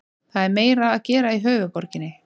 Það er meira að gera í höfuðborginni.